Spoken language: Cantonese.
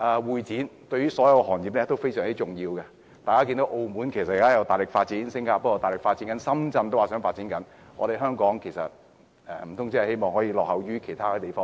會展對於所有行業也是重要的，大家看到澳門、新加坡和深圳現時也正大力發展，難道香港真的想落後於其他地方嗎？